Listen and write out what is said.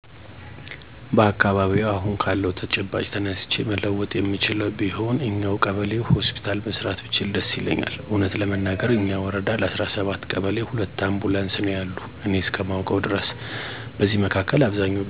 በአካባቢየ አሁን ካለው ተጨባጭ ተነስቼ መለወጥ የምችለው ቢሆን እኛው ቀበሌ ሆስፒታል መስራት ብችል ደስ ይለኛል። እውነት ለመናገር እኛ ወረዳ ለ17 ቀበሌ ሁለት አምቡላንስ ነው ያሉ እኔ እስከማውቀው ድረስ። በዚህ መካከል አብዛኞች ቤተሰቦች ህመም ሲደርስባቸው ፈጥነው ወደህክምና መሄድ አይችሉም በተለይ በወሊድ ጊዜ እናቶች ይቸገራሉ። ስለዚህ ቢሳካልኝ ይህን አደርግ ነበር። እና የአካባቢ ጽዳትን በተመለከተ ሰፊ ግንዛቤ አሰጣለሁ። በደንብ እየሰራ ያለ የወባ ትንኝ በቀደም ቀጣም ታስቸግር ነበር አሁን አሁን ግን አጎቀር በመጠቀም እና የወባ ትንኝ ምንጮችን በማጥፋት አብዛኛው ጠፍታለች ማለት ይቻላል ሙሉ በሙሉ ባይሆንም።